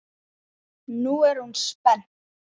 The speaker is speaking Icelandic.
Nú er hún spennt.